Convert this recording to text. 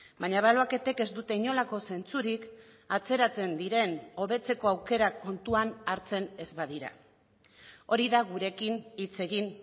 baina ebaluaketek ez dute inolako zentzurik atzeratzen diren hobetzeko aukerak kontuan hartzen ez badira hori da gurekin hitz egin